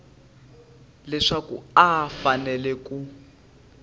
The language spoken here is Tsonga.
leswaku a a fanele ku